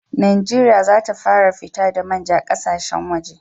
Najeriya za ta fara fito da manja ƙasashen waje